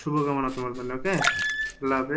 শুভ কামনা তোমার জন্য okay